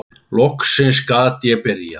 Loksins gat ég byrjað!